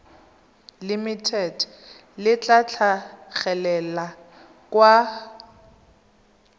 limited le tla tlhagelela kwa